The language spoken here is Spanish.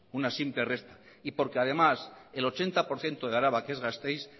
una simple resta y porque además el ochenta por ciento de araba que es gasteiz